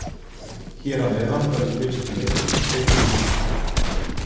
Hér að neðan verður fylgst með leiknum í beinni lýsingu.